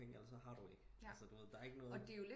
Penge eller så har du ikke altså der er ikke noget